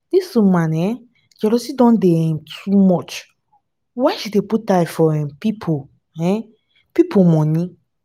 dis woman um jealousy don dey um too much why she dey put eye for um pipu for um pipu moni?